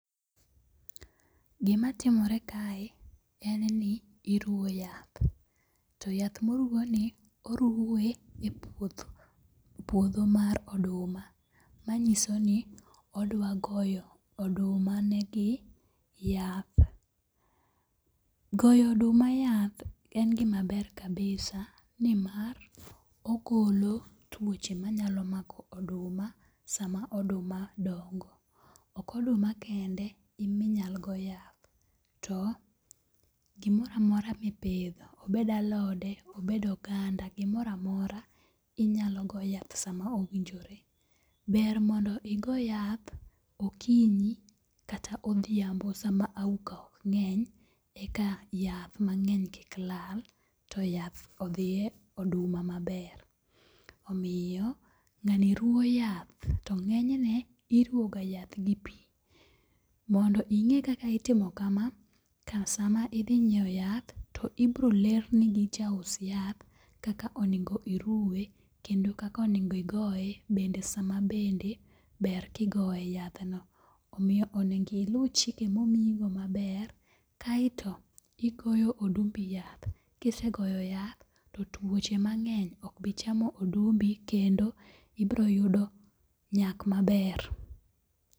Gimatimore kae en ni iruwo yath to yath moruwoni oruwe e puodho puodho mar oduma, manyiso ni odwagoyo odumanegi yath. Goyo oduma yath en gima ber kabisa nimar ogolo tuoche manyalo mako oduma sama oduma dongo. Ok oduma kende eminyal go yath, to gimoro amora mipidho, obed alode, obed oganda, gimoro amora inyalo go yath sama owinjore. Ber mondo igo yath okinyi kata odhiambo sama auka ok ng'eny eka yath mang'eny kik lal to yath odhi e oduma maber. Omiyo ng'ani ruwo yath, to ng'enyne iruwoga yath gi pi. Mondo ing'e kaka itimo kama, sama idhi nyieo yath to ibrolerni gi jaus yath kaka onego iruwe kendo kakonego igoye bende sama bende ber kigoye yadhno. Omiyo onego ilu chike momiyigo maber kaeto igoyo odumbi yath, kisegoyo yath to tuoche mang'eny okbi chamo odumbi kendo ibroyudo nyak maber.